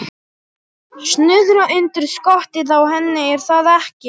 Snuðra undir skottið á henni, er það ekki?